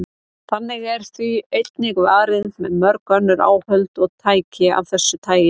Þannig er því einnig varið með mörg önnur áhöld og tæki af þessu tagi.